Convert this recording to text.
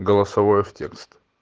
голосовое в текст